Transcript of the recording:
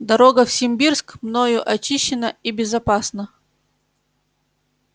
дорога в симбирск мною очищена и безопасна